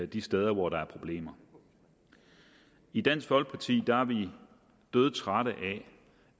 de steder hvor der er problemer i dansk folkeparti er vi dødtrætte